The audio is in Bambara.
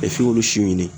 f'i k'olu si ɲini